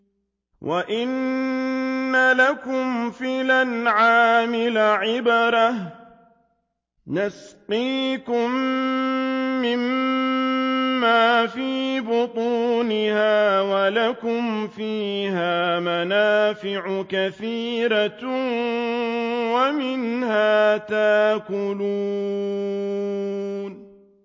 وَإِنَّ لَكُمْ فِي الْأَنْعَامِ لَعِبْرَةً ۖ نُّسْقِيكُم مِّمَّا فِي بُطُونِهَا وَلَكُمْ فِيهَا مَنَافِعُ كَثِيرَةٌ وَمِنْهَا تَأْكُلُونَ